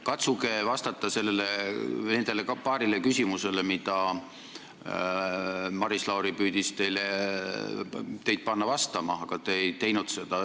Katsuge vastata nendele paarile küsimusele, millele Maris Lauri püüdis teid panna vastama, aga te ei teinud seda.